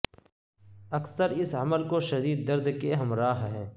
اکثر اس عمل کو شدید درد کے ہمراہ ہے